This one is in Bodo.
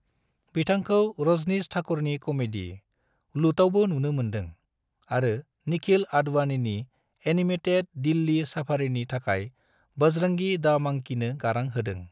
बिथांखौ रजनीश ठाकुरनि कमेडी, लुटआवबो नुनो मोनदों, आरो निखिल आडवाणीनि एनिमेटेड दिल्ली सफारीनि थाखाय बजरंगी दा मंकीनो गारां होदों।